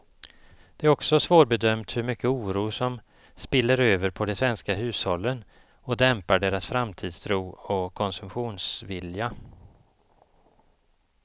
Det är också svårbedömt hur mycket oro som spiller över på de svenska hushållen och dämpar deras framtidstro och konsumtionsvilja.